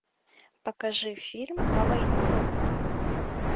покажи фильм о войне